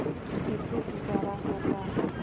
कैसे गुजारा होगा